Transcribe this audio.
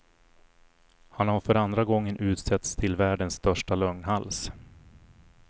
Han har för andra gången utsetts till världens största lögnhals.